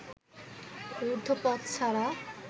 রুদ্ধ পথ ছাড়া